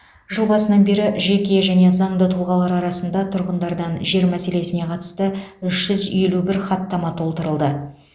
жыл басынан бері жеке және заңды тұлғалар арасында тұрғындардан жер мәселесіне қатысты үш жүз елу бір хаттама толтырылды